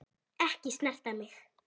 Ekki snerta mig.